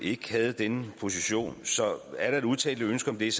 ikke havde denne position så er der et udtalt ønske om det er